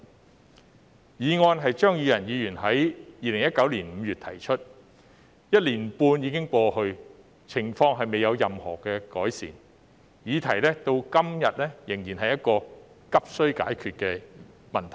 這項議案是張宇人議員在2019年5月提出的，一年半已經過去，情況未有任何改善，議題至今仍是急需解決的問題。